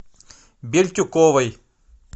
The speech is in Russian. бельтюковой